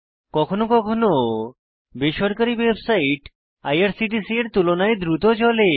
কখনো কখনো বেসরকারী ওয়েবসাইট আইআরসিটিসি এর তুলনায় দ্রুত চলে